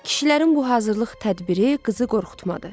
Kişilərin bu hazırlıq tədbiri qızı qorxutmadı.